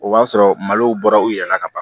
O b'a sɔrɔ malow bɔra u yɛrɛ la ka ban